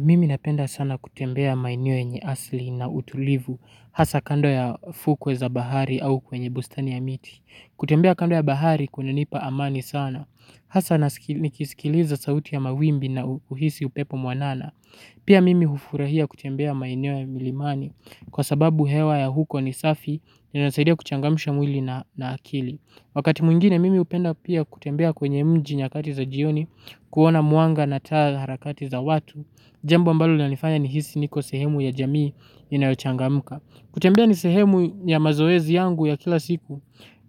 Mimi napenda sana kutembea maeneo yenye asli na utulivu, hasa kando ya fukwe za bahari au kwenye bustani ya miti. Kutembea kando ya bahari kunanipa amani sana. Hasa nikisikiliza sauti ya mawimbi nauhisi upepo mwanana. Pia mimi hufurahia kutembea maeneo ya milimani, kwa sababu hewa ya huko ni safi, inasaidia kuchangamisha mwili na akili. Wakati mwingine mimi hupenda pia kutembea kwenye mji nyakati za jioni, kuona mwanga na taa harakati za watu, jambo ambalo linanifanya nihisi niko sehemu ya jamii inayochangamka. Kutembea ni sehemu ya mazoezi yangu ya kila siku